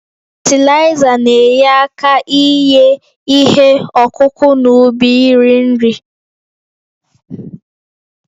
Fatịlaịza na-enye aka inye ihe ọkụkụ n'ubi nri nri